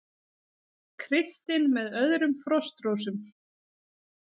Kristinn með öðrum Frostrósum